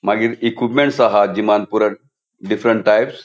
मागिर इक्विपमेंट्स आहा जिमान पूरा डिफ्रन्ट टाइप्स .